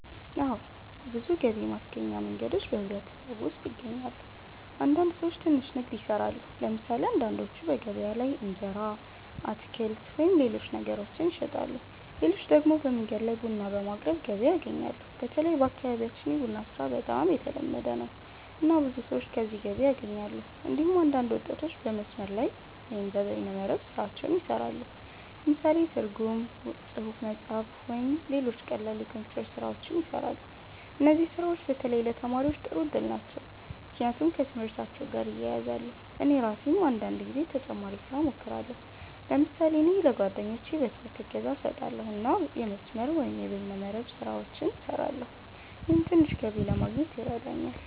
አዎ። ብዙ ገቢ ማስገኛ መንገዶች በማህበረሰቡ ውስጥ ይገኛሉ። አንዳንድ ሰዎች ትንሽ ንግድ ይሰራሉ። ለምሳሌ አንዳንዶቹ በገበያ ላይ እንጀራ፣ አትክልት ወይም ሌሎች ነገሮችን ይሸጣሉ። ሌሎች ደግሞ በመንገድ ላይ ቡና በማቅረብ ገቢ ያገኛሉ። በተለይ በአካባቢያችን የቡና ስራ በጣም የተለመደ ነው፣ እና ብዙ ሰዎች ከዚህ ገቢ ያገኛሉ። እንዲሁም አንዳንድ ወጣቶች በመስመር ላይ (በይነ መረብ) ስራዎች ይሰራሉ። ለምሳሌ ትርጉም፣ ጽሁፍ መጻፍ፣ ወይም ሌሎች ቀላል የኮምፒውተር ስራዎች ይሰራሉ። እነዚህ ስራዎች በተለይ ለተማሪዎች ጥሩ እድል ናቸው፣ ምክንያቱም ከትምህርታቸው ጋር ይያያዛሉ። እኔ ራሴም አንዳንድ ጊዜ ተጨማሪ ስራ እሞክራለሁ። ለምሳሌ እኔ ለጓደኞቼ በትምህርት እገዛ እሰጣለሁ እና የመስመር(በይነ መረብ) ስራዎችን እሰራለሁ። ይህም ትንሽ ገቢ ለማግኘት ይረዳኛል።